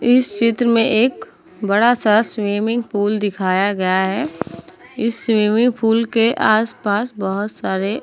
इस चित्र में एक बड़ा सा स्विमिंग पुल दिखाया गया है। इस स्विमिंग पुल के आस पास बोहोत सारे --